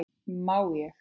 Má ég?